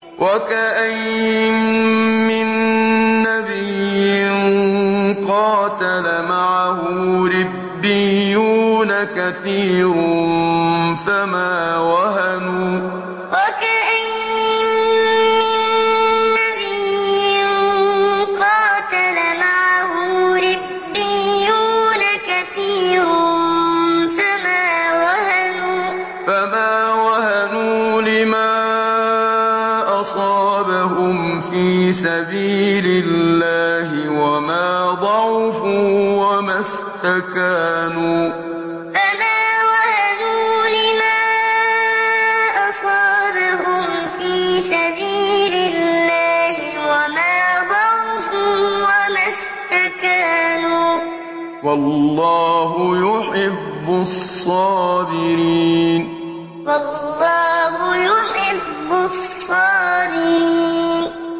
وَكَأَيِّن مِّن نَّبِيٍّ قَاتَلَ مَعَهُ رِبِّيُّونَ كَثِيرٌ فَمَا وَهَنُوا لِمَا أَصَابَهُمْ فِي سَبِيلِ اللَّهِ وَمَا ضَعُفُوا وَمَا اسْتَكَانُوا ۗ وَاللَّهُ يُحِبُّ الصَّابِرِينَ وَكَأَيِّن مِّن نَّبِيٍّ قَاتَلَ مَعَهُ رِبِّيُّونَ كَثِيرٌ فَمَا وَهَنُوا لِمَا أَصَابَهُمْ فِي سَبِيلِ اللَّهِ وَمَا ضَعُفُوا وَمَا اسْتَكَانُوا ۗ وَاللَّهُ يُحِبُّ الصَّابِرِينَ